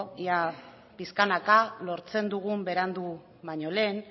ea pixkanaka lortzen dugun berandu baino lehen